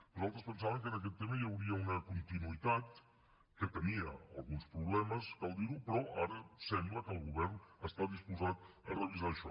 nosaltres pensàvem que en aquest tema hi hauria una continuïtat que tenia alguns problemes cal dir ho però ara sembla que el govern està disposat a revisar això